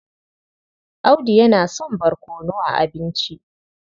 Audu yana son barkono a abinci.